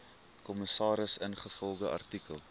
kommissaris ingevolge artikel